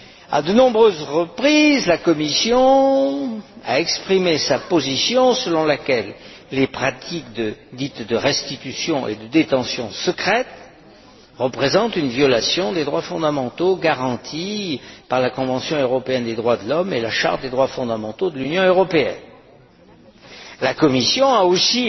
À de nombreuses reprises, la Commission a exprimé sa position selon laquelle les pratiques dites de restitution et de détention secrètes représentent une violation des droits fondamentaux garantis par la Convention européenne des droits de l'homme et la Charte des droits fondamentaux de l'Union européenne. La Commission